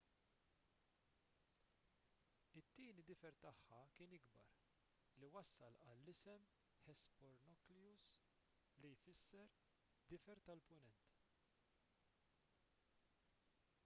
it-tieni difer tagħha kien ikbar li wassal għall-isem hesperonychus li jfisser difer tal-punent